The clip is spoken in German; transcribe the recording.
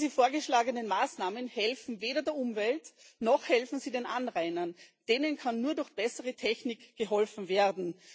Diese vorgeschlagenen Maßnahmen helfen weder der Umwelt, noch helfen sie den Anrainern denen kann nur durch bessere Technik geholfen werden.